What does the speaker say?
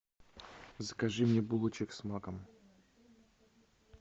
закажи мне булочек с маком